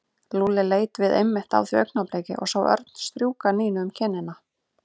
Lúlli leit við einmitt á því augnabliki og sá Örn strjúka Nínu um kinnina.